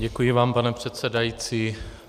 Děkuji vám, pane předsedající.